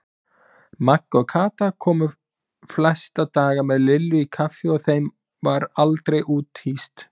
Magga og Kata komu flesta daga með Lillu í kaffi og þeim var aldrei úthýst.